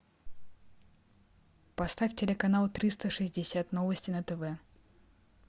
поставь телеканал триста шестьдесят новости на тв